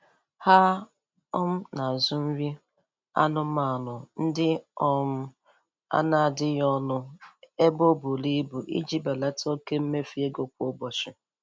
Ha um na-azụ nri anụmanụ ndị um a n'adịghị ọnụ ebe o buru ibu iji belata oke mmefu ego kwa ụbọchi.